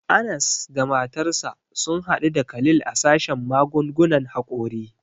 Anas da matarsa sun hadu da Khalil a sashen magungunan hakori.